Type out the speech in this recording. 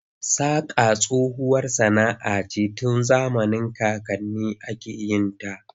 Saƙa tsohuwar sana'a ce tun zamanin kakanninmu ake yin ta.